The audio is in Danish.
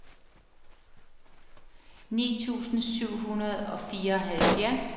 ni tusind syv hundrede og fireoghalvfjerds